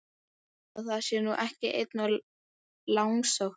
Ætli það sé nú ekki einum of langsótt!